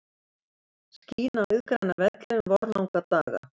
Skín á iðgræna velli um vorlanga daga.